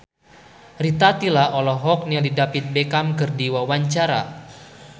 Rita Tila olohok ningali David Beckham keur diwawancara